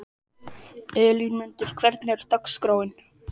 Elínmundur, hvernig er dagskráin?